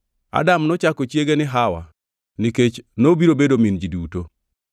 Adam nochako chiege ni Hawa nikech nobiro bedo min ji duto.